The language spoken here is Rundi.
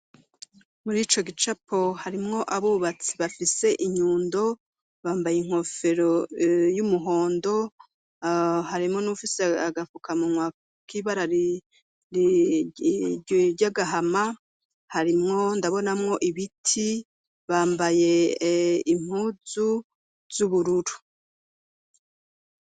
Muri ico gicapo harimwo abubatsi bafise inyundo bambaye inkofero y'umuhondo harimwo n'ufise agafukamunwa k'ibara ry'agahama harimwo ndabonamwo ibiti, bambaye impuzu z'ubururu.